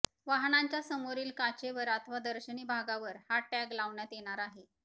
वाहनांच्या समोरील काचेवर अथवा दर्शनी भागावर हा टॅग लावण्यात येणार आहे